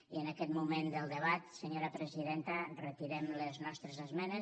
i en aquest moment del debat senyora presidenta retirem les nostres esmenes